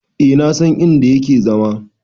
E na san in da yake zama.